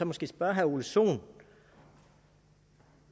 måske spørge herre ole sohn